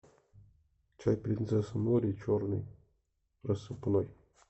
чай принцесса нури черный рассыпной